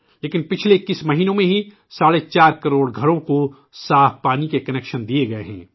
لیکن پچھلے 21 مہینوں میں ہی ساڑھے چار کروڑ گھروں کو صاف پانی کے کنکشن دیے گئے ہیں